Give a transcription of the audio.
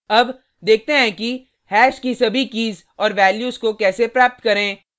अब देखते हैं कि हैश की सभी कीज़ और वैल्यूज़ को कैसे प्राप्त करें